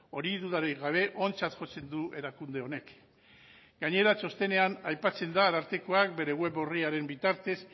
hori dudarik gabe ontzat jotzen du erakunde honek gainera txostenean aipatzen da arartekoak bere web orriaren bitartez